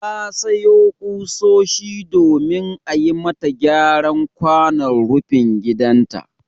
Ta sayo ƙusoshi domin a yi mata gyaran kwanon rufin gidanta.